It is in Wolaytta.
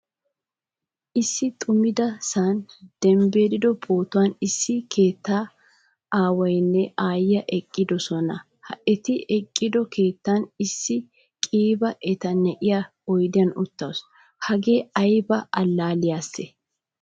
Issi xumida sa'an debddido pootuwaan issi keettaa aawaynne aayiyaa eqqidosona. Ha eti eqqido keettan issi qiiba eta na'iya oydiyan uttasu. Hagee ayba allaliyase?